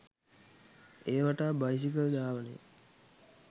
එය වටා බයිසිකල් ධාවනය